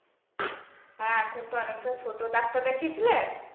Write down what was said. হ্যাঁ সে তো অনেক টা ছোট ডাক্তার দেখিয়েছিলে?